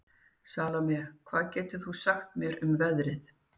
Salome, hvað geturðu sagt mér um veðrið?